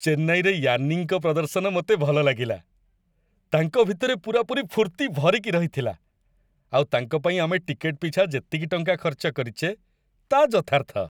ଚେନ୍ନାଇରେ ୟାନ୍ନିଙ୍କ ପ୍ରଦର୍ଶନ ମୋତେ ଭଲ ଲାଗିଲା। ତାଙ୍କ ଭିତରେ ପୂରାପୁରି ଫୁର୍ତ୍ତି ଭରିକି ରହିଥିଲା, ଆଉ ତାଙ୍କ ପାଇଁ ଆମେ ଟିକେଟ୍‌ ପିଛା ଯେତିକି ଟଙ୍କା ଖର୍ଚ୍ଚ କରିଚେ ତା' ଯଥାର୍ଥ।